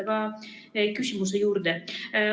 Aga küsimuse juurde.